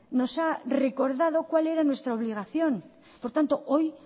nos ha recordado cuál era nuestra obligación por lo tanto hoy